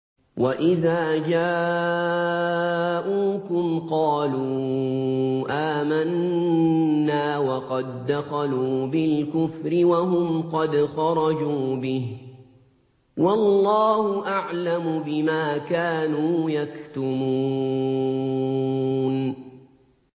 وَإِذَا جَاءُوكُمْ قَالُوا آمَنَّا وَقَد دَّخَلُوا بِالْكُفْرِ وَهُمْ قَدْ خَرَجُوا بِهِ ۚ وَاللَّهُ أَعْلَمُ بِمَا كَانُوا يَكْتُمُونَ